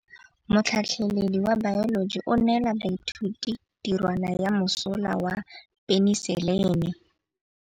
Motlhatlhaledi wa baeloji o neela baithuti tirwana ya mosola wa peniselene.